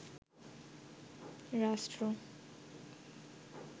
রাষ্ট্র